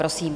Prosím.